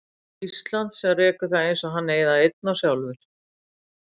Íslands sem rekur það eins og hann eigi það einn og sjálfur.